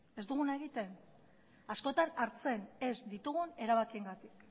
ez duguna egiten askotan hartzen ez ditugun erabakiengatik